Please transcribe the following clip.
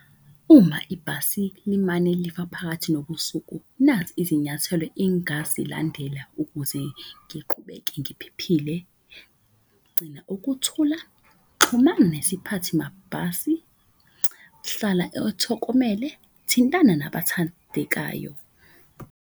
Uma ibhasi limane lifa phakathi nobusuku, nazi izinyathelo ingazilandela ukuze ngiqhubeke ngiphephile. Gcina ukuthula, xhumana nesiphathi mabhasi, hlala , thintana nabathandekayo.